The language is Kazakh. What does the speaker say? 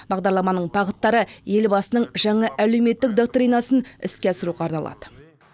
бағдарламаның бағыттары ел басының жаңа әлеуметтік доктринасын іске асыруға арналады